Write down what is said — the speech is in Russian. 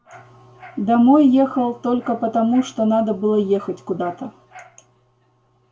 домой ехал только потому что надо было ехать куда-то